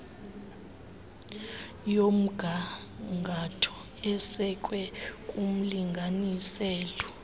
yomgangatho esekwe kumlinganiselo